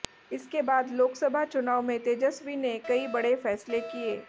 इसके बाद लोकसभा चुनाव में तेजस्वी ने कई बड़े फैसले किए